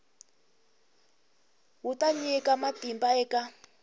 wu ta nyika matimba eka